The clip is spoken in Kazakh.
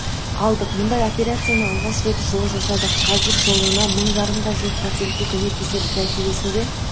алдық бұндай операцияны алғаш рет жылы жасадық қазір жылына мың жарымға жуық пациентке көмектесеміз нәтижесінде